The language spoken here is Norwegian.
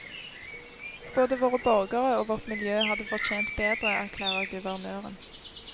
Både våre borgere og vårt miljø hadde fortjent bedre, erklærer guvernøren.